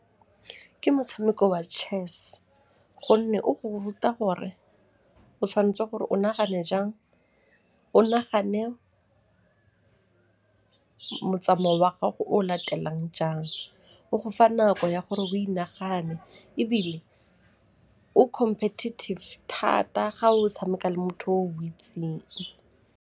Ke motshameko wa chess gonne o go ruta gore o tshwanetse gore o nagane jang, o nagane motsamao wa gago o o latelang jang, o go fa nako ya gore o inagane ebile o competitive thata ga o tshameka le motho o o itseng.